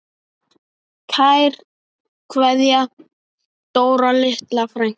Kær kveðja, Dóra litla frænka.